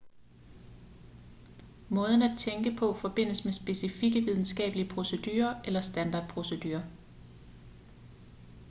måden at tænke på forbindes med specifikke videnskabelige procedurer eller standardprocedurer